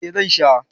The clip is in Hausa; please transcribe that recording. Eh zan sha